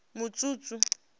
mutshutshu